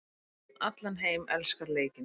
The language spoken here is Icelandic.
Fólk um allan heim elskar leikinn.